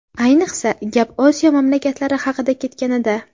Ayniqsa, gap Osiyo mamlakatlari haqida ketganida.